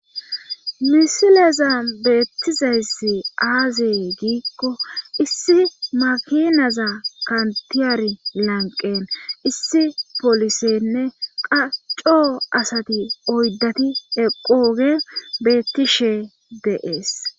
misileza beettizessi aazee giikko issi makinaza kantiyari lanqen issi polisenne qacco asati oyddati eqooge beettishe deees